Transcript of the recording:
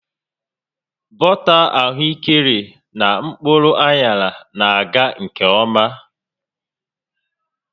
Bọta ahụekere na mkpụrụ aṅarana-aga nke ọma